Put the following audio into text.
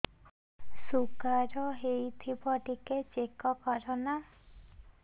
sugar ହେଇଥିବ ଟିକେ check କର ନା